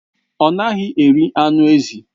Ọ naghị eri anụ ezi.